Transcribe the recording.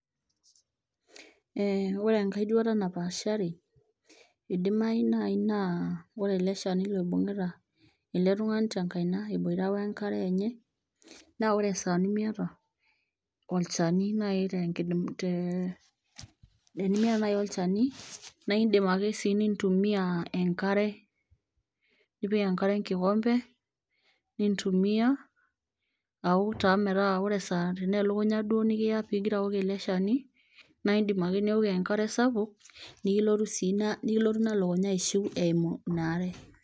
Eh ore enkae duata napaashari idimai naaji naa wore ele shani loibung'ita ele tung'ani tenkaina eboita wenkare enye naa ore esaa nemiyata olchani naaji tee tenimiata naaji olchani naindim ake sii nintumia enkare nipik enkare enkikombe nintumia awok taa metaa ore esaa tenaa elukunya duo nikiya pigira awok ele shani naindim ake niwok enkare sapuk nikilotu ina lukunya aishiu eimu ina are.